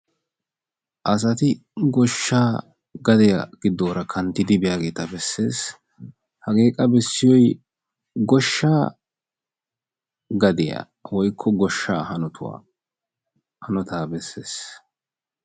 Asatti gooshshaa gadiyaa giddoora kanttidi biyaageta bessees. Hagee qa bessiyoy goshshaa gadiyaa woykko hanotuwaa gooshshaa hanoottaa bessees.